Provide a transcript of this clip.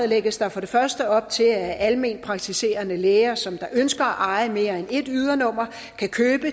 lægges der for det første op til at alment praktiserende læger som ønsker at eje mere end ét ydernummer kan købe